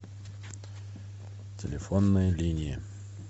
телефонная линия